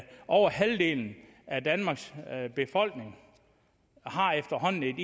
over halvdelen af danmarks befolkning efterhånden